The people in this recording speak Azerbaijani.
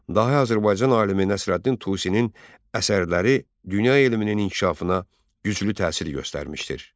Dahi Azərbaycan alimi Nəsrəddin Tusinin əsərləri dünya elminin inkişafına güclü təsir göstərmişdir.